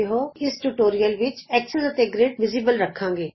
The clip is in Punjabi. ਅਸੀਂ ਇਸ ਟਯੂਟੋਰਿਅਲ ਵਿਚ ਧੁਰਾ ਅਤੇ ਗਰਿਡ ਪ੍ਰਤੱਖ ਰਖਾਂਗੇ